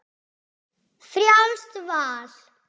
Frjálst val!